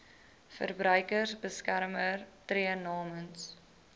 verbruikersbeskermer tree namens